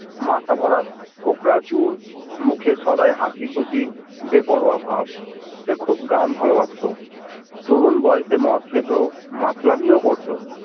মাথা ভরা কোঁকরা চুল, মুখে সদাই হাসি খুশি বেপরোয়া ভাব, সে খুব গান ভালোবাসতো তরুণ বয়সে মদ খেত, মাতলামি ও করতো